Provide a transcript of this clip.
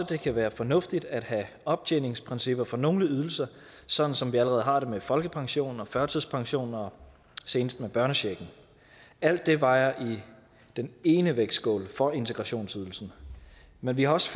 det kan være fornuftigt at have optjeningsprincipper for nogle ydelser sådan som vi allerede har det med folkepension og førtidspension og senest med børnechecken alt det vejer i den ene vægtskål for integrationsydelsen men vi har også